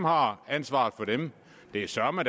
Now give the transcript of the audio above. har ansvaret for det det er søreme